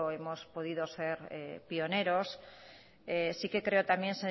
hemos podido ser pioneros sí que creo también